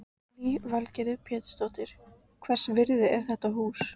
Lillý Valgerður Pétursdóttir: Hvers virði er þetta hús?